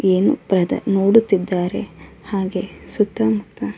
ಏನ್ ಬ್ರದರ್ ನೋಡುತ್ತಿದ್ದರೆ ಹಾಗೆ ಸುತ್ತ ಮುತ್ತ --